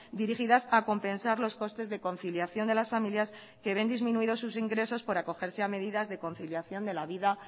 dirigidas a compensar los costes de conciliación de las familias que ven disminuidos sus ingresos por acogerse a medidas de conciliación de la vida